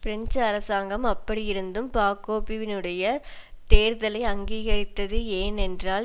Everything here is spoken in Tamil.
பிரெஞ்சு அரசாங்கம் அப்படியிருந்தும் பாக்போவினுடைய தேர்தலை அங்கீகரித்தது ஏனென்றால்